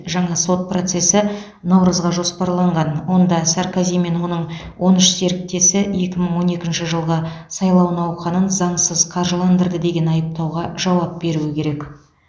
жаңа сот процесі наурызға жоспарланған онда саркози мен оның он үш серіктесі екі мың он екінші жылғы сайлау науқанын заңсыз қаржыландырды деген айыптауға жауап беруі керек